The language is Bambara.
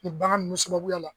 Ni bagan nunnu sababuya la.